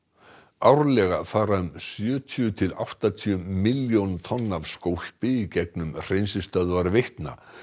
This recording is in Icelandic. árlega fara um sjötíu til áttatíu milljón tonn af skólpi gegnum hreinsistöðvar Veitna